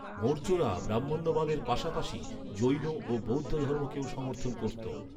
মৌর্যরা ব্রাহ্মণ্যবাদের পাশাপাশি জৈন ও বৌদ্ধধর্মকেও সমর্থন করতো।